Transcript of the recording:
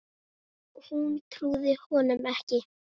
Hún trúði honum ekki.